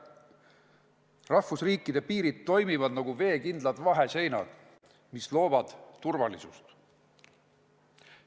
Rahvusriikide piirid toimivad nagu veekindlad vaheseinad, mis loovad turvalisust.